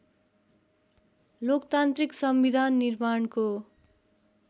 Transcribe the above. लोकतान्त्रिक संविधान निर्माणको